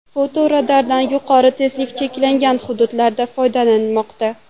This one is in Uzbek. Fotoradardan yuqori tezlik cheklangan hududlarda foydalanilmoqda.